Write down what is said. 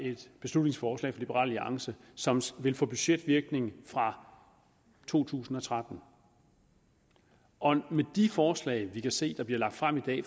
et beslutningsforslag liberal alliance som som vil få budgetvirkning fra to tusind og tretten og de forslag vi kan se der bliver fremsat i